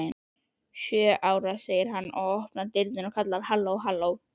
Sjö ára, segir hann, opnar dyrnar og kallar: halló halló